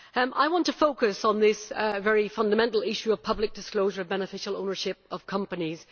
I want to focus on this very fundamental issue of public disclosure of beneficial ownership of companies.